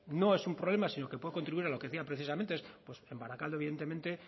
no es un problema sino que puede contribuir a lo que decía precisamente pues en barakaldo